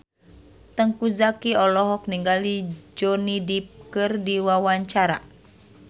Teuku Zacky olohok ningali Johnny Depp keur diwawancara